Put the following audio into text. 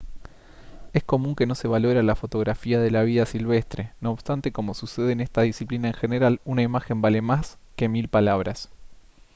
es común que no se valore a la fotografía de la vida silvestre no obstante como sucede en esta disciplina en general una imagen vale más que mil palabras